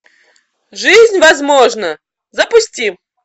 жизнь возможна запусти